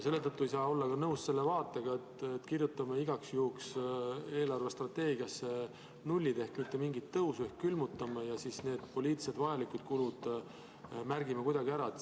Selle tõttu ei saa olla ka nõus selle vaatega, et kirjutame igaks juhuks eelarvestrateegiasse nullid ehk mitte mingit tõusu ehk külmutame ja siis need poliitiliselt vajalikud kulud märgime kuidagi ära.